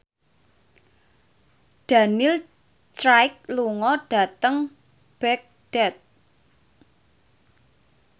Daniel Craig lunga dhateng Baghdad